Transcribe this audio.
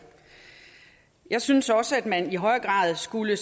jeg synes også at man selvfølgelig i højere grad skulle